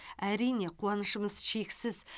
әрине қуанышымыз шексіз